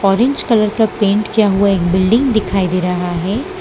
Orange colour का paint किया हुआ एक बिल्डिंग दिखाई दे रहा है।